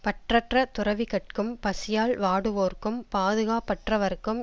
பற்றற்ற துறவிகட்கும் பசியால் வாடுவோர்க்கும் பாதுகாப்பற்றவர்க்கும்